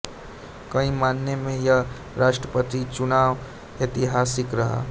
कई मायने में यह राष्ट्रपति चुनाव ऐतिहासिक रहा